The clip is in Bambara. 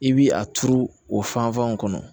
I bi a turu o fanfɛnw kɔnɔ